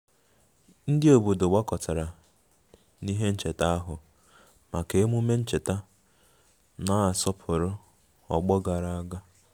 Ndị obodo gbakọtara n'ihe ncheta ahụ maka emume ncheta na-asọpụrụ ọgbọ gara aga